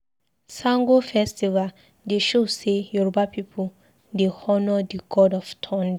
Sango festival dey show sey Yoruba pipu dey honour di god of thunder.